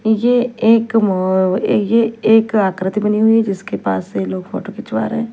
ये एक मो ये एक आकृति बनी हुई जिसके पास ये लोग फोटो खिंचवा रहे--